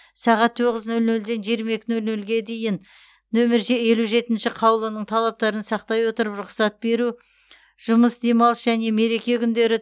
сағат тоғыз нөл нөлден жиырма екі нөл нөлге дейін номер елу жетінші қаулының талаптарын сақтай отырып рұқсат беру жұмыс демалыс және мереке күндері